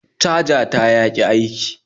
Caja ta yaki aiki